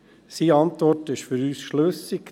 Seine Antwort ist für uns schlüssig.